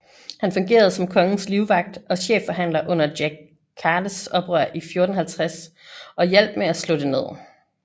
Han fungerede som kongens livvagt og chefforhandler under Jack Cades oprør i 1450 og hjalp med at slå det ned